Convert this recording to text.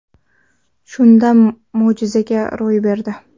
Shunda, mo‘jiza ro‘y berdi.